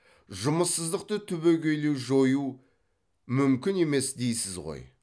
жұмыссыздықты түбегейлі жою мүмкін емес дейсіз ғой